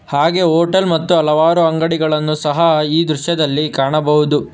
ಹಾಗೆ ಹೋಟೆಲ್ ಮತ್ತು ಹಲವಾರು ಅಂಗಡಿಗಳನ್ನು ಈ ದೃಶ್ಯದಲ್ಲಿ ಸಹ ಕಾಣಬಹುದು.